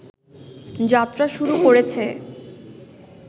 যাত্রা শুরু করেছে